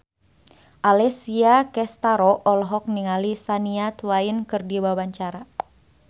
Alessia Cestaro olohok ningali Shania Twain keur diwawancara